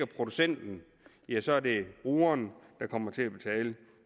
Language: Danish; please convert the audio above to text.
producenten ja så er det brugeren der kommer til at betale